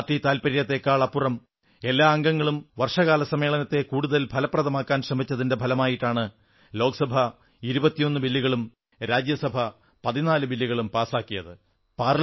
party താത്പര്യത്തേക്കാൾ അപ്പുറം എല്ലാ അംഗങ്ങളും വർഷകാല സമ്മേളനത്തെ കടുതൽ ഫലപ്രദമാക്കാൻ ശ്രമിച്ചതിന്റെ ഫലമായിട്ടാണ് ലോക്സഭ 21 ബില്ലുകളും രാജ്യസഭ 14 ബില്ലുകളും പാസാക്കിയത്